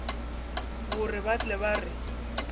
gore ba tle ba re